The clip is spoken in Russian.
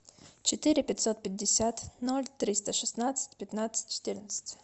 четыре пятьсот пятьдесят ноль триста шестнадцать пятнадцать четырнадцать